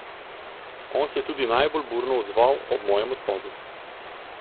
On se je tudi najbolj burno odzval ob mojem odhodu.